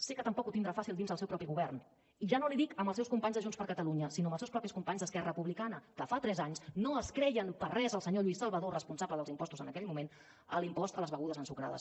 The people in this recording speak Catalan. sé que tampoc ho tindrà fàcil dins el seu propi govern i ja no li dic amb els seus companys de junts per catalunya sinó amb els seus mateixos companys d’esquerra republicana que fa tres anys no es creien per res el senyor lluís salvadó responsable dels impostos en aquell moment l’impost a les begudes ensucrades